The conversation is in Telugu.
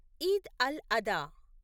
ఈద్ అల్ అదా